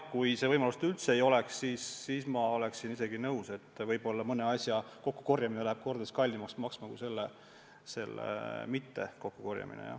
Kui seda võimalust üldse ei oleks, siis ma oleksin nõus, et mõne jäätme kokkukorjamine läheb kordades kallimaks maksma kui selle mitte kokkukorjamine.